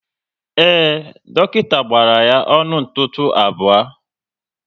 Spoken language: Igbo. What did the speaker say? Ee, dọkịta gbara ya ọnụ ntụtụ abụọ